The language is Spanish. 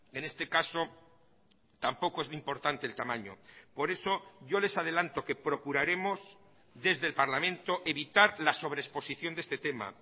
en este caso tampoco es importante el tamaño por eso yo les adelanto que procuraremos desde el parlamento evitar la sobreexposición de este tema